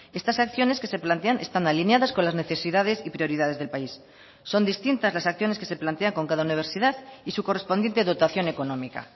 estas acciones que se plantean están alineadas con las necesidades y prioridades del país son distintas las acciones que se plantea con cada universidad y su correspondiente dotación económica